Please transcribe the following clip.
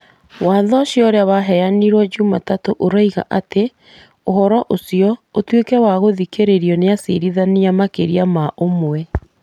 Watho ũcio ũrĩa waheanirwo jumatatũ ũroiga atĩ, Ũhoro ũcio ũtuĩke wa gũthikĩrĩrio nĩ acirithania makĩria ma ũmwe ....